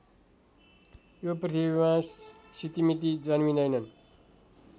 यो पृथ्वीमा सितिमीति जन्मिँदैनन्